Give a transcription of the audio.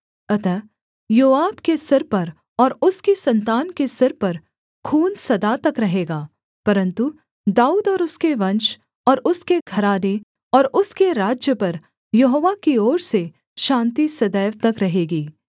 अतः योआब के सिर पर और उसकी सन्तान के सिर पर खून सदा तक रहेगा परन्तु दाऊद और उसके वंश और उसके घराने और उसके राज्य पर यहोवा की ओर से शान्ति सदैव तक रहेगी